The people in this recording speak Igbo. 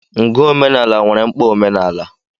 Ngụ omenala nwere mkpa omenala.